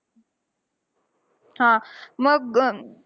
हा मग अं